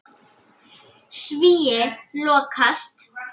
Svíi lokast.